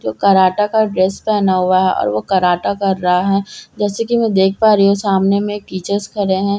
जो कराठा का ड्रेस पहने हुआ हैं और वो कराठा कर रहा है जैसे कि मैं देख पा रही हूं सामने में टीचरस खड़े है ज --